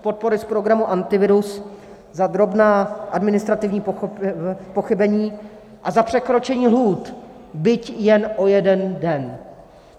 podpory z programu Antivirus za drobná administrativní pochybení a za překročení lhůt, byť jen o jeden den.